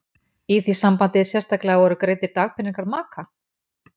Í því sambandi sérstaklega voru greiddir dagpeningar maka?